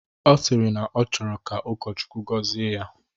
Ọ sịrị na ọ chọrọ ka ụkọchukwu gọzie ya